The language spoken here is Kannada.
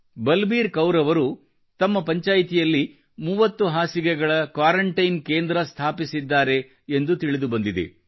ಬಲಬೀರ್ ಕೌರ್ ಅವರು ತಮ್ಮ ಪಂಚಾಯ್ತಿಯಲ್ಲಿ 30 ಹಾಸಿಗೆಗಳ ಕ್ವಾರಂಟೈನ್ ಕೇಂದ್ರವನ್ನು ಸ್ಥಾಪಿಸಿದ್ದಾರೆ ಎಂದು ತಿಳಿದು ಬಂದಿದೆ